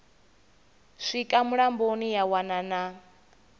swika mulamboni ya wana na